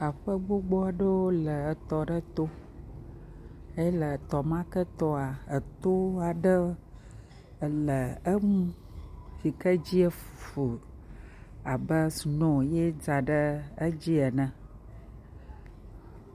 Aƒe gbogbo aɖewo le tɔ ma to. Ye le tɔ ma ke toa, eto aɖe le eŋu yike edzi fu abe snoo ye dza ɖe edzi ene.